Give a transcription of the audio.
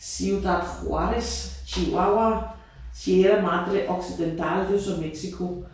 Ciudad Juárez Chihuahua Sierra Madre Occidental det jo så Mexico